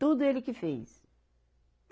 Tudo ele que fez.